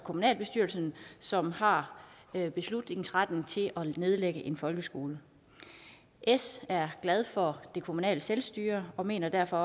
kommunalbestyrelsen som har har beslutningsretten til at nedlægge en folkeskole s er glad for det kommunale selvstyre og mener derfor